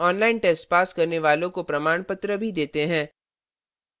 online test pass करने वालों को प्रमाणपत्र भी देते हैं